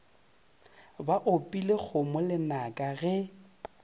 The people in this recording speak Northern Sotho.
ba opile kgomo lenaka ge